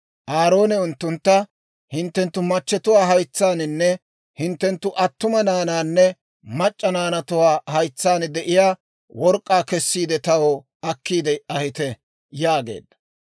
Aaroone unttuntta, «Hinttenttu machatuwaa haytsaaninne hinttenttu attuma naanaanne mac'c'a naanatuwaa haytsaan de'iyaa work'k'aa kessiide, taw akkiide ahite» yaageedda.